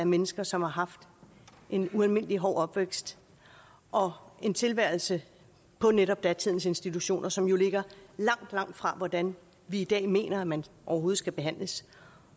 mennesker som har haft en ualmindelig hård opvækst og en tilværelse på netop datidens institutioner som jo ligger langt langt fra hvordan vi i dag mener at man overhovedet skal behandles